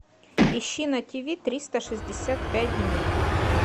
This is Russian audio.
ищи на тв триста шестьдесят пять дней